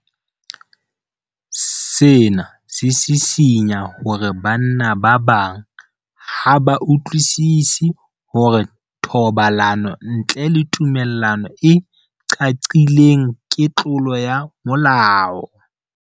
Sena se sisinya hore banna ba bang ha ba utlwisisi hore thobalano ntle le tumello e qaqileng ke tlolo ya molao.